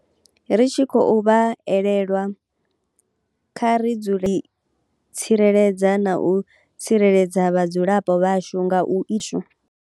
Ri tshi khou vha elelwa, kha ri dzule ri tshi tsireledza na u tsireledza vhadzulapo vhashu nga u.